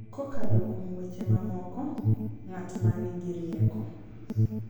Kokalo kuom weche mamoko, ng’at ma nigi rieko .